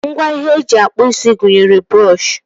Ngwa ihe eji akpụ isi gụnyere brọọshị